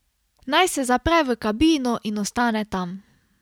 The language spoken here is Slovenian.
Naj se zapre v kabino in ostane tam.